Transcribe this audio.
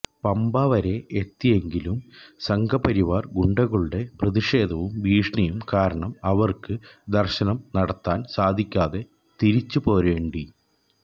പമ്പ വരെ എത്തിയെങ്കിലും സംഘപരിവാര് ഗുണ്ടകളുടെ പ്രതിഷേധവും ഭീഷണിയും കാരണം അവര്ക്ക് ദര്ശനം നടത്താന് സാധിക്കാതെ തിരിച്ച് പോരേണ്ടി